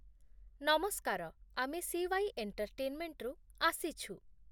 ନମସ୍କାର, ଆମେ ସି.ୱାଇ. ଏଣ୍ଟେର୍ଟେନ୍ମେଣ୍ଟରୁ ଆସିଛୁ।